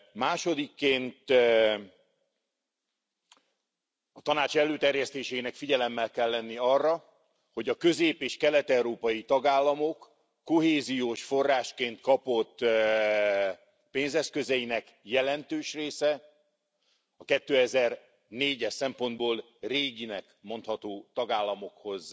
Másodikként, a Tanács előterjesztésének figyelemmel kell lenni arra, hogy a közép és kelet európai tagállamok kohéziós forrásként kapott pénzeszközeinek jelentős része, a 2004 es szempontból réginek mondható tagállamokhoz